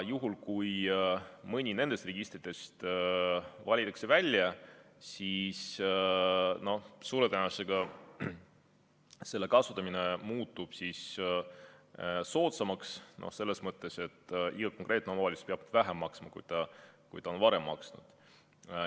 Juhul, kui mõni nendest registritest valitakse välja, siis suure tõenäosusega selle kasutamine muutub soodsamaks selles mõttes, et konkreetne omavalitsus peab maksma vähem, kui ta on seni maksnud.